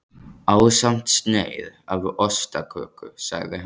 Ásamt sneið af ostaköku sagði hann.